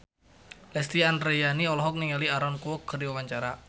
Lesti Andryani olohok ningali Aaron Kwok keur diwawancara